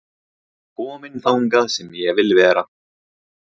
Kominn þangað sem ég vil vera